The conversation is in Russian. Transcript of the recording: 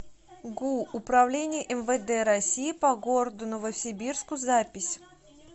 гу управление мвд россии по городу новосибирску запись